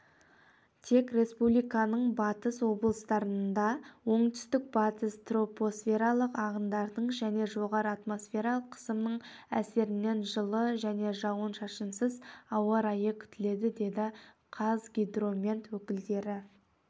тек республиканың батыс облыстарында оңтүстік-батыс тропосфералық ағындардың және жоғары атмосфералық қысымның әсерінен жылы және жауын-шашынсыз ауа райы күтіледі деді қазгидромет өкілдері